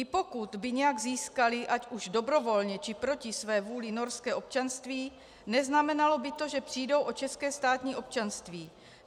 I pokud by nějak získali ať už dobrovolně, či proti své vůli norské občanství, neznamenalo by to, že přijdou o české státní občanství.